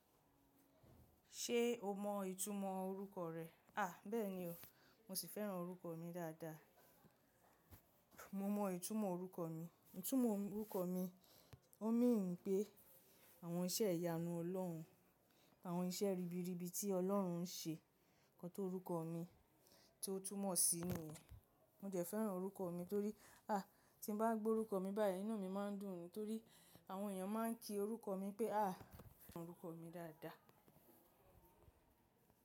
Ṣé o mọ ìtumọ̀ orúkọ rẹ? À, bẹ́ẹ̀ni o. Mo sì fẹ́ràn orúkọ mi dáadáa. Mo mọ ìtumọ̀ orúkọ mi. Ìtumọ̀ orúkọ mi, ó mean wí pé àwọn iṣẹ́ ìyanu Ọlọ́run, àwọn iṣẹ́ ribiribi tí Ọlọ́run ń ṣe kan tó orúkọ mi tí ó túmọ̀ sí inú mi. Mo jẹ̀ fẹ́ràn orúkọ mi torí, à, tí mo bá gbọ́ orúkọ mi báyìí, inú mi máa ń dùn mi torí àwọn èèyàn máa ń kí orúkọ mi pé, à, mo fẹ́ràn orúkọ mi dáadáa.